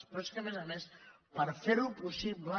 però és que a més a més per fer ho possible